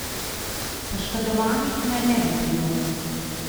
Poškodovanih naj ne bi bilo.